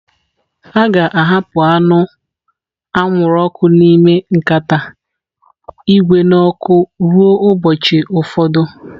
A ga-ahapụ anụ anwụrụ ọkụ n'ime nkata ígwè n'ọkụ ruo ụbọchị ụfọdụ.